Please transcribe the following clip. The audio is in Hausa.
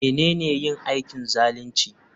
Menene yin aikin zalunci?